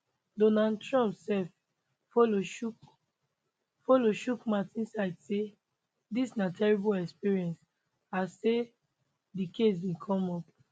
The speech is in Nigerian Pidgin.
donald trump sef follow chook follow chook mouth inside say dis na terrible experience and say di case bin come up